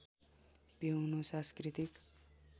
पिउनु सांस्कृतिक